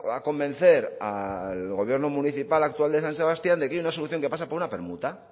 a convencer al gobierno municipal actual de san sebastián de que hay una solución que pasa por una permuta